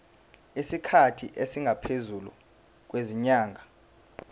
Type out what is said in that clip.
isikhathi esingaphezulu kwezinyanga